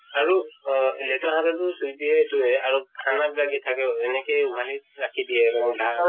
আৰু অহ লেতেৰা হাতে টো চুই দিয়ে এইটোয়ে আৰু খানাত লাগি থাকে, এনেকেই উঘালি ৰাখি দিয়ে কোনো ঢাকা